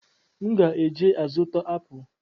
M ga eje azụta apụ